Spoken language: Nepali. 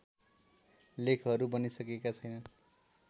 लेखहरू बनिसकेका छैनन्